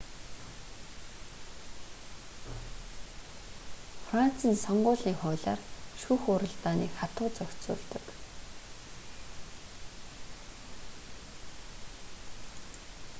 францын сонгуулийн хуулиар шүүх хуралдааныг хатуу зохицуулдаг